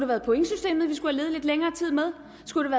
været pointsystemet vi skulle have levet lidt længere tid med skulle